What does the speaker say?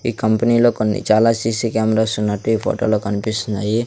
ఈ కంపెనీ లో కొన్ని చాలా సి_సి కెమెరాస్ వున్నట్టు ఈ ఫోటో లో కనిపిస్తున్నాయి.